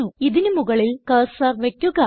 ഇതിന് മുകളിൽ കർസർ വയ്ക്കുക